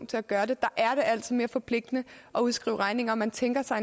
til at gøre det er det altså mere forpligtende at udskrive regninger man tænker sig